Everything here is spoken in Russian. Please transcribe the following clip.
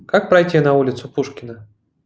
как пройти на улицу пушкина